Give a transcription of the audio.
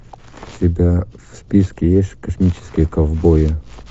у тебя в списке есть космические ковбои